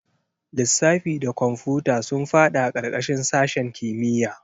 Lissafi da kwamfuta sun fada karkashin sashen kimiyya.